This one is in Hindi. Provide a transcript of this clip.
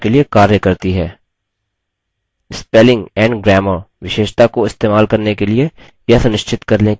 spelling and grammar विशेषता को इस्तेमाल करने के लिए यह सुनिश्चित कर लें कि autospellcheck option सक्षम है